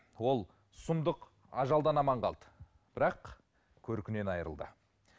ол сұмдық ажалдан аман қалды бірақ көркінен айырылды